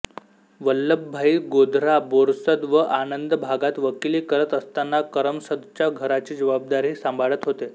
वल्लभभाई गोधरा बोरसद व आणंद भागात वकिली करत असताना करमसदच्या घराची जबाबदारीही सांभाळत होते